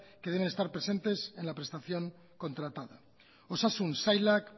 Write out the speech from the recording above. que deben estar presentes en la prestación contratada osasun sailak